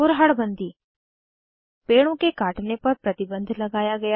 कुरहड़ बन्दी पेड़ों के काटने पर प्रतिबन्ध लगाया गया